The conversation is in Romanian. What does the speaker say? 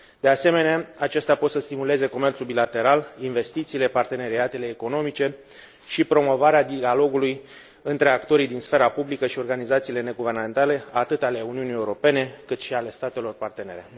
De asemenea, acestea pot să stimuleze comerțul bilateral, investițiile, parteneriatele economice și promovarea dialogului între actorii din sfera publică și organizațiile neguvernamentale, atât ale Uniunii Europene, cât și ale statelor partenere.